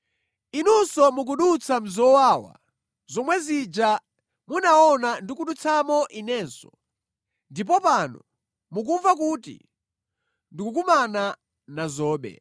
Inunso mukudutsa mʼzowawa zomwe zija munaona ndikudutsamo inenso ndipo pano mukumva kuti ndikukumana nazobe.